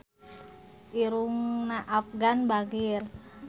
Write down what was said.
Irungna Afgan bangir